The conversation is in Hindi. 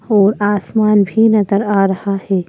और आसमान भी नज़र आ रहा है।